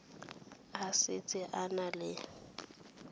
a setse a na le